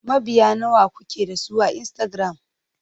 Mabiya nawa kuke da su a Instagram?